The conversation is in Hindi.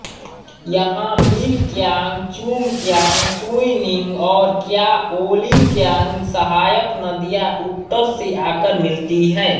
यहाँ मिलक्यांग चुंगक्यांग सुइनिंग और कयाओलिंगक्यांग सहायक नदियाँ उत्तर से आकर मिलती हैं